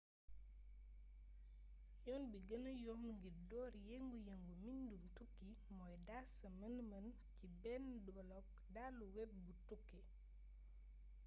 yoon bi genne yomb ngir door yëngu yëngu mbindum tukki mooy daas sa mën mën ci bénn blog dalu web bu tukki